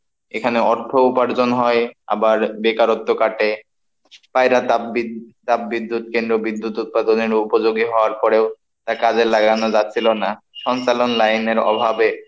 এখানে অর্থ উপার্জন হয় আবার বেকারত্ব কাটে, পায়রা তাপবিদ্য~তাপবিদ্যুৎ কেন্দ্র বিদ্যুৎ উৎপাদনের ও উপযোগী হওয়ার পরেও তা কাজে লাগানো যাচ্ছিল না, সঞ্চালন লাইনের অভাবে।